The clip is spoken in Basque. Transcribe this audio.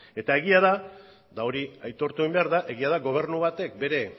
eta egia da eta hori aitortu egin behar da egia da gobernu batek bere